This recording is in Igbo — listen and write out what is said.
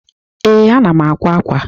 Ee, ana m àkwá ákwà.